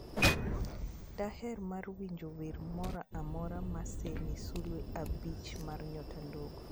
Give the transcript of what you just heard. Daher mar winjo wer moro amora mosemi sulwe abich mar nyota ndogo